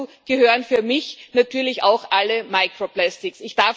Dazu gehören für mich natürlich auch alle microplastics